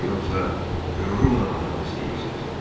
Nədir yoxsa qürurumla oynamaq istəyirsiz?